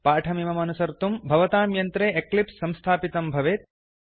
पाठमिममनुसर्तुं भवतां यन्त्रे एक्लिप्स् संस्थापितं भवेत्